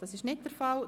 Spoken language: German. – Das ist der Fall.